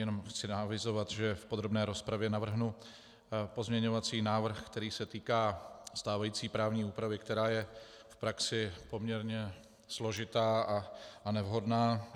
Jenom chci avizovat, že v podrobné rozpravě navrhnu pozměňovací návrh, který se týká stávající právní úpravy, která je v praxi poměrně složitá a nevhodná.